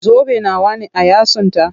Zobe nawa ne a yatsunta?